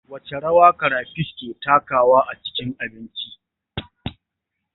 Wace rawa karafish yake takawa a cikin abinci?